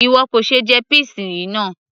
ìwọ kò ṣe jẹ peas yìí náà